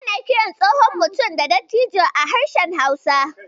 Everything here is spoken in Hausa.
Ana kiran tsohon mutum da "Dattijo" a harshen Hausa.